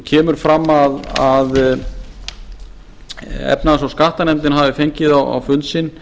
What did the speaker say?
kemur fram að efnahags og skattanefndin hafi fengið á fund sinn